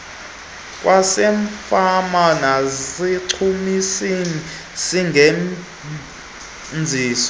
kwasefama nezichumisi singenziwa